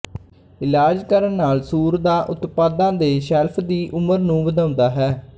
ਇਲਾਜ ਕਰਨ ਨਾਲ ਸੂਰ ਦਾ ਉਤਪਾਦਾਂ ਦੇ ਸ਼ੈਲਫ ਦੀ ਉਮਰ ਨੂੰ ਵਧਾਉਂਦਾ ਹੈ